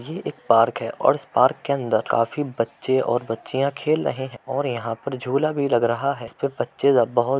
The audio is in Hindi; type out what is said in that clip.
ये एक पार्क है और इस पार्क के अंदर काफी बच्चे और बच्चियां खेल रहे हैं और यहाँ पर झूला भी लग रहा है। वे बच्चे बहो --